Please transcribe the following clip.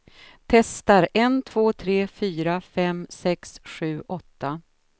Testar en två tre fyra fem sex sju åtta.